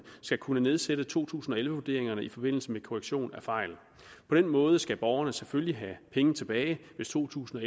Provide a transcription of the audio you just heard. skal kunne nedsætte to tusind og elleve vurderingerne i forbindelse med korrektion af fejl på den måde skal borgerne selvfølgelig have penge tilbage hvis to tusind og